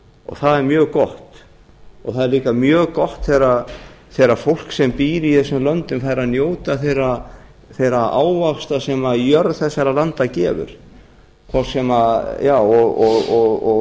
það er mjög gott það er líka mjög gott þegar fólk sem býr í þessum löndum fær að njóta þeirra ávaxta sem jörð þessara landa gefur og